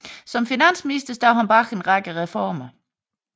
Som finansminister stod han bag en række reformer